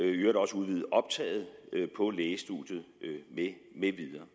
i øvrigt også udvidet optaget på lægestudiet med videre